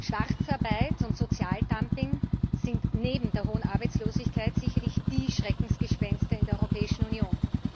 Schwarzarbeit und Sozialdumping sind neben der hohen Arbeitslosigkeit sicherlich die Schreckgespenster in der Europäischen Union.